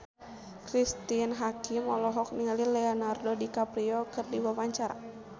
Cristine Hakim olohok ningali Leonardo DiCaprio keur diwawancara